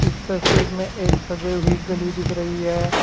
इस तस्वीर में एक सजी हुई गली दिख रही है।